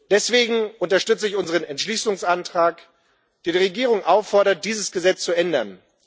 Deswegen unterstütze ich unseren Entschließungsantrag, der die Regierung auffordert, dieses Gesetz zu ändern.